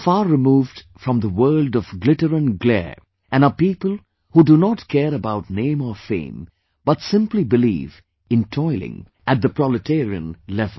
They are far removed from the world of glitter and glare, and are people who do not care about name or fame but simply believe in toiling at the proletarian level